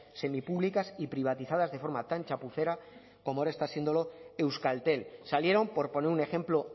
semipúblicas y privatizadas de forma tan chapucera como ahora está siéndolo euskaltel salieron por poner un ejemplo